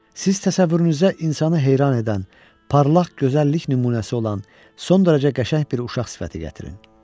Siz təsəvvürünüzə insanı heyran edən, parlaq gözəl lik nümunəsi olan son dərəcə qəşəng bir uşaq sifəti gətirin.